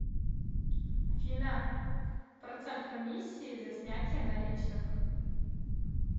афина процент комиссии за снятие наличных